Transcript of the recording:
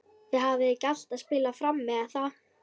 Þið hafið ekki alltaf spilað frammi er það?